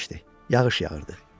Yağış yağırdı.